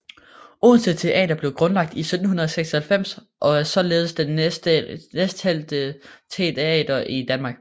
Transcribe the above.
Odense Teater blev grundlagt i 1796 og er således den næstældste teater i Danmark